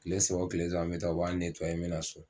Tile saba o tile saba n bɛ taa u b'a , n bɛ na so.